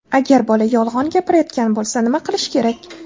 Agar bola yolg‘on gapirayotgan bo‘lsa, nima qilish kerak?.